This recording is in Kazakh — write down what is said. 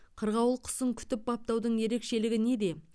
қырғауыл құсын күтіп баптаудың ерекшелігі неде